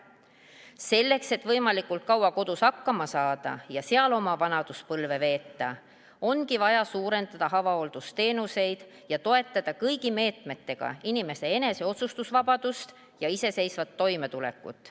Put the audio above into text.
Selleks, et võimalikult kaua kodus hakkama saada ja seal oma vanaduspõlve veeta, ongi vaja suurendada avahooldusteenuseid ja toetada kõigi meetmetega inimese otsustusvabadust ja iseseisvat toimetulekut.